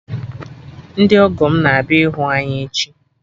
Ndị ọgọ m na ahịa ịhụ anyị echi